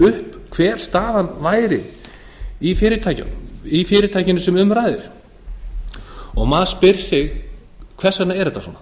upp hver staðan væri í fyrirtækjunum sem um ræðir og maður spyr sig hvers vegna er þetta svona